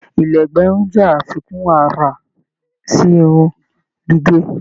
Ìla ẹgbẹ irun jẹ àfikún àrà sí irun gígé.